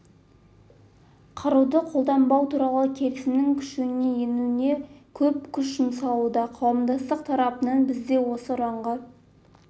қаруды қолданбау туралы келісімнің күшіне енуіне көп күш жұмсауда қауымдастық тарапынан біз де осы ұранға